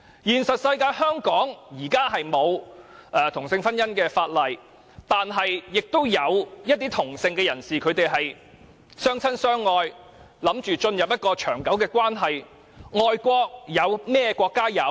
現實中，香港現時沒有同性婚姻的法例，但亦有一些同性的人士相親相愛，準備進入長久的關係。